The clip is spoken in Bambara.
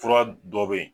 Fura dɔ bɛ yen